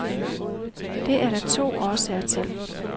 Det er der to årsager til.